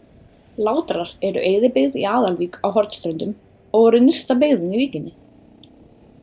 Látrar eru eyðibyggð í Aðalvík á Hornströndum og voru nyrsta byggðin í víkinni.